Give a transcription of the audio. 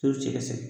Toro cɛ ka ca